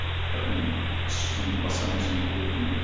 бірақ мен іс жүзінде басқа нәрсені көріп отырмын ғой